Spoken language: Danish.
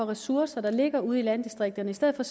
ressourcer der ligger ude i landdistrikterne i stedet for